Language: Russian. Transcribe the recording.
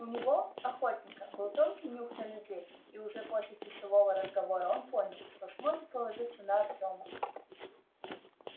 у него охотника был тонкий нюх на людей и уже после часового разговора он понял что сможет положиться на артёма